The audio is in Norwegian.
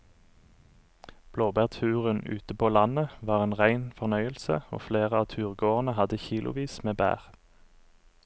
Blåbærturen ute på landet var en rein fornøyelse og flere av turgåerene hadde kilosvis med bær.